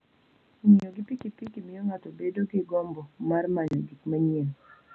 Ng'iyo pikipiki miyo ng'ato bedo gi gombo mar manyo gik manyien.